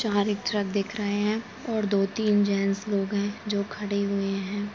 चार एक ट्रक दिख रहे हैं और दो तीन जेंट्स लोग हैं जो खड़े हुए हैं।